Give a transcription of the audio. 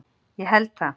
Ég held það!